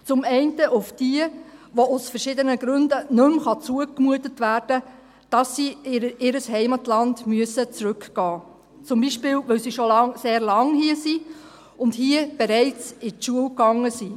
Zum einen auf diejenigen, welchen aus verschiedenen Gründen nicht mehr zugemutet werden kann, dass sie in ihr Heimatland zurückgehen müssen, zum Beispiel, weil sie schon sehr lange hier sind und hier bereits in die Schule gegangen sind.